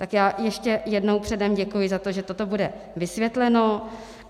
Tak já ještě jednou předem děkuji za to, že toto bude vysvětleno.